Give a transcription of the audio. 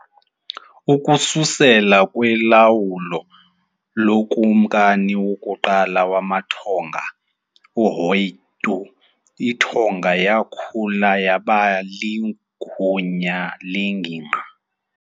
Ukususela kulawulo lokumkani wokuqala wamaTonga, ʻAhoʻeitu, iTonga yakhula yaba ligunya lengingqi.